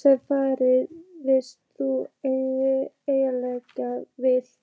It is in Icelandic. sem farið fyrst þú endilega vilt.